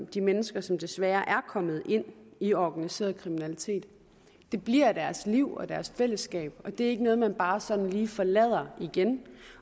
de mennesker som desværre er kommet ind i organiseret kriminalitet det bliver deres liv og deres fællesskab og det er ikke noget man bare sådan lige forlader igen